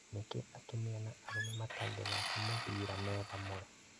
Nĩkĩ atumia na arũme matangĩthika mũbira me hamwe?